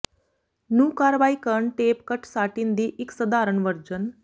ਨੂੰ ਕਾਰਵਾਈ ਕਰਨ ਟੇਪ ਕੱਟ ਸਾਟਿਨ ਦੀ ਇੱਕ ਸਧਾਰਨ ਵਰਜਨ